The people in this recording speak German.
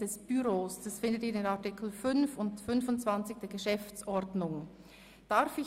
Dies finden Sie in den Artikeln 5 und 25 der Geschäftsordnung des Grossen Rates (GO).